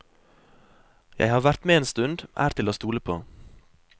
Jeg har vært med en stund, er til å stole på.